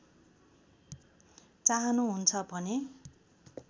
चाहनुहुन्छ भने